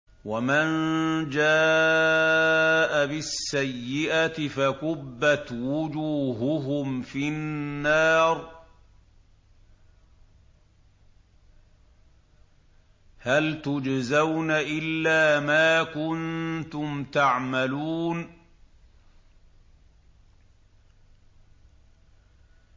وَمَن جَاءَ بِالسَّيِّئَةِ فَكُبَّتْ وُجُوهُهُمْ فِي النَّارِ هَلْ تُجْزَوْنَ إِلَّا مَا كُنتُمْ تَعْمَلُونَ